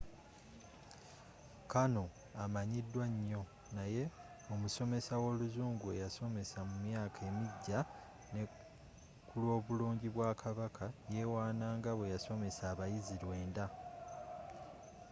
karno amanyiddwa nyo naye omusomesa w'oluzungu eyasomesa mu myaka emigya ne kulwobulungi bwa kabaka yewaana nga bweyasomesa abayizzi lwenda